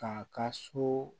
K'a ka so